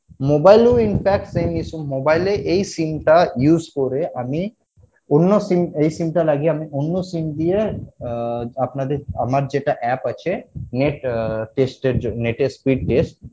mobile এও in fact same issue mobile এ এই sim টা use করে আমি অন্য sim এই sim টা লাগিয়ে আমি অন্য sim দিয়ে আহ আপনাদের আমার যেটা app আছে net আহ test এর জন্য net এর speed test